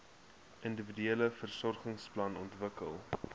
individuele versorgingsplan ontwikkel